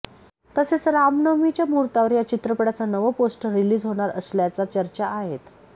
तसेच रामनवमीच्या मुहूर्तावर या चित्रपटाचं नवं पोस्टर रिलीज होणार असल्याच्या चर्चा आहेत